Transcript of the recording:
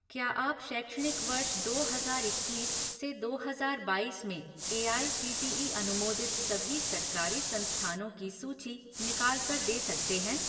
क्या आप शैक्षणिक वर्ष दो हजार इक्कीस से दो हजार बाईस में एआईसीटीई अनुमोदित सभी सरकारी संस्थानों की सूची निकाल कर दे सकते हैं?